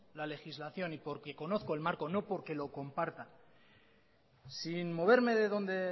la legislación y porque conozco el marco no porque lo comparta sin moverme de donde